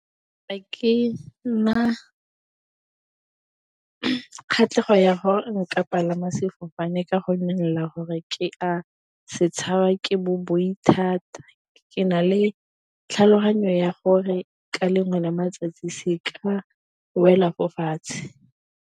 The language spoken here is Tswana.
kgatlhego ya gore nka palama sefofane ka gonne ke a se tshaba ke bo boi thata, ke na le tlhaloganyo ya gore ka lengwe la matsatsi se ka wela fo fatshe.